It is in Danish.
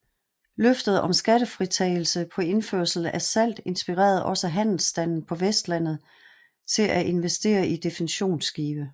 Løftet om skattefritagelse på indførsel af salt inspirerede også handelsstanden på Vestlandet til at investeret i defensionsskibe